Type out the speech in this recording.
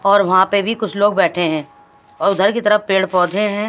और वहाँ पे भी कुछ लोग बैठे हैं और उधर की तरफ पेड़ पौधे हैं।